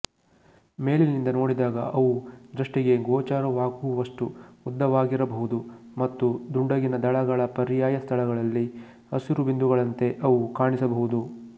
ಮೇಲಿನಿಂದ ನೋಡಿದಾಗ ಅವು ದೃಷ್ಟಿಗೆ ಗೋಚರವಾಗುವಷ್ಟು ಉದ್ದವಾಗಿರಬಹುದು ಮತ್ತು ದುಂಡಗಿನ ದಳಗಳ ಪರ್ಯಾಯ ಸ್ಥಳಗಳಲ್ಲಿ ಹಸಿರು ಬಿಂದುಗಳಂತೆ ಅವು ಕಾಣಿಸಬಹುದು